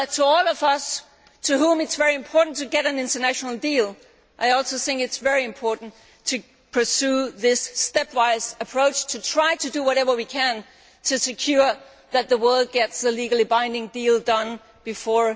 So for all of us to whom it is very important to get an international deal, I also think it is very important to pursue this stepwise approach and to try to do whatever we can to ensure that the world gets a legally binding deal before